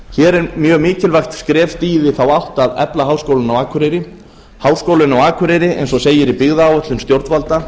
hér er mjög mikilvægt skref stigið í þá átt að efla háskólann á akureyri háskólinn á akureyri eins dag segir í byggðaáætlun stjórnvalda